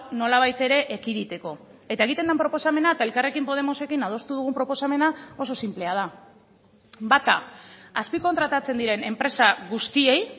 nolabait ere ekiditeko eta egiten den proposamena eta elkarrekin podemosekin adostu dugun proposamena oso sinplea da bata azpikontratatzen diren enpresa guztiei